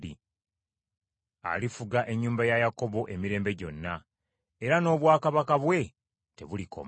Alifuga ennyumba ya Yakobo emirembe gyonna, era n’obwakabaka bwe tebulikoma.”